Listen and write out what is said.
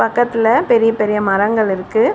பக்கத்துல பெரிய பெரிய மரங்கள் இருக்கு.